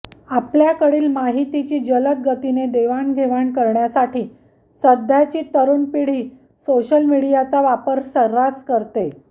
आपल्याकडील माहितीची जलद गतीने देवाणघेवाण करण्यासाठी सध्याची तरुण पिढी सोशल मीडियाचा वापर सर्रास करते